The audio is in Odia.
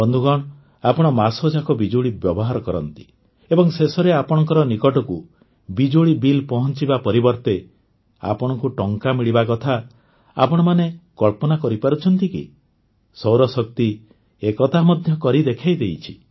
ବନ୍ଧୁଗଣ ଆପଣ ମାସଯାକ ବିଜୁଳି ବ୍ୟବହାର କରନ୍ତି ଏବଂ ଶେଷରେ ଆପଣଙ୍କ ନିକଟକୁ ବିଜୁଳି ବିଲ୍ ପହଞ୍ଚିବା ପରିବର୍ତ୍ତେ ଆପଣଙ୍କୁ ଟଙ୍କା ମିଳିବା କଥା ଆପଣମାନେ କଳ୍ପନା କରିପାରୁଛନ୍ତି କି ସୌରଶକ୍ତି ଏ କଥା ମଧ୍ୟ କରିଦେଖାଇଛି